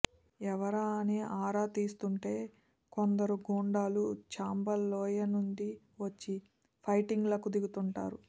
ఎవరా అని ఆరా తీస్తుంటే కొందరు గూండాలు చంబల్ లోయనుంచి వచ్చి ఫైటింగ్లకు దిగుతుంటారు